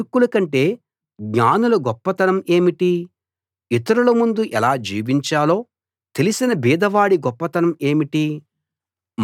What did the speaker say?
మూర్ఖుల కంటే జ్ఞానుల గొప్పతనం ఏమిటి ఇతరుల ముందు ఎలా జీవించాలో తెలిసిన బీదవాడి గొప్పతనం ఏమిటి